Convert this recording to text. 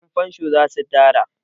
Yanfansho za su dara.